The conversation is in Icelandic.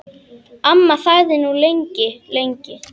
Amma þagði nú lengi, lengi.